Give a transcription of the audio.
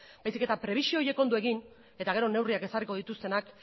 baizik eta prebizio horiek ondo egin eta gero neurriak ezarriko dituztenak